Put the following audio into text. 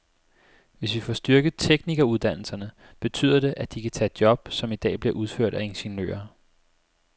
Hvis vi får styrket teknikeruddannelserne, betyder det, at de kan tage job, som i dag bliver udført af ingeniører.